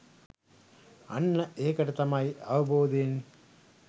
අන්න ඒකට තමයි අවබෝධයෙන්